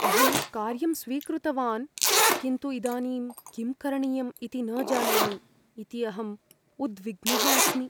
अहं कार्यं स्वीकृतवान् किन्तु इदानीं किं करणीयम् इति न जानामि इति अहं उद्विग्नः अस्मि।